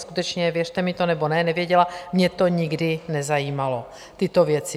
Skutečně, věřte mi to nebo ne, nevěděla, mě to nikdy nezajímalo, tyto věci.